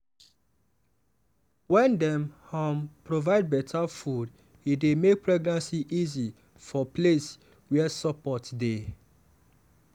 wen dem um provide better food e dey make pregnancy easy for place wey support dey.